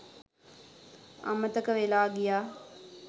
අමතක වෙලා ගියා